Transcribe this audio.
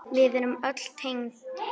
Við erum öll tengd.